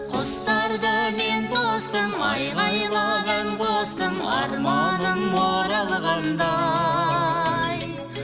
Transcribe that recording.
құстарды мен тостым айғайлап ән қостым арманым оралғандай